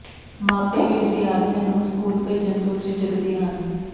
ਮਾਪੇ ਵੀ ਵਿਦਿਆਰਥੀਆਂ ਨੂੰ ਸਕੂਲ ਭੇਜਣ ਤੋਂ ਝਿਜਕਦੇ ਹਨ